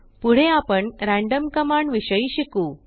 पुढे आपण random command विषयी शिकू